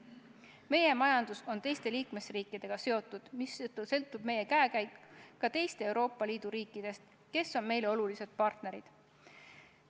Meie majandus on teiste liikmesriikidega seotud, mistõttu sõltub meie käekäik ka teistest Euroopa Liidu riikidest, kes on meile olulised partnerid.